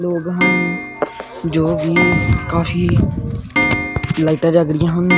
ਲੋਗ ਹਨ ਜੋਗੀ ਕਾਫੀ ਲਾਈਟਾਂ ਜਗ ਰਹੀਆਂ ਹਨ